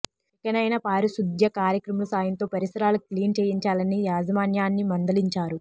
ఇకనైనా పారిశుద్ధ్య కార్మికుల సాయంతో పరిసరాలు క్లీన్ చేయించాలని యాజమాన్యాన్ని మందలించారు